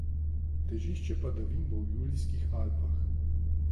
Težišče padavin bo v Julijskih Alpah.